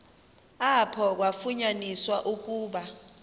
apho kwafunyaniswa ukuba